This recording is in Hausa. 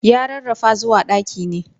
Ya rarrafa zuwa ɗaki ne.